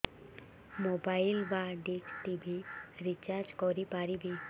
mobile ବା dish TV recharge କରି ପାରିବି